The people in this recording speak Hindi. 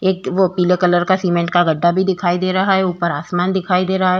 एक वो पीले कलर का सीमेंट का गड्ढा भी दिखाई दे रहा है ऊपर आसमान दिखाई दे रहा है।